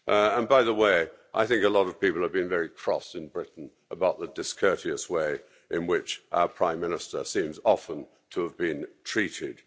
And by the way, I think a lot of people have been very cross in Britain about the discourteous way in which our Prime Minister seems often to have been treated.